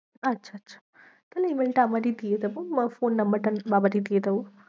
আচ্ছা আচ্ছা তাহলে email টা আমারই দিয়ে দেবো phone number টা আমি বাবারই দিয়ে দেবো।